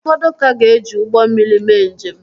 Ụfọdụ ka ga-eji ụgbọ mmiri mee njem